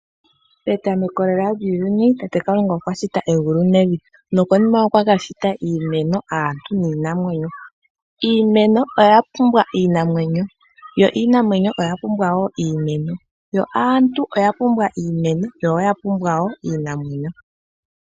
Etameko lela lyuuyuni Tate kalunga okwashiti tango egulu nevi nokonima okwashita iimeno, aantu niinamwenyo. Iimeno oyapumbwa iimamwenyo yo iinamwenyo oyapumbwa woo iimeno yo aantu oyapumbwa iimeno niinamwenyo woo.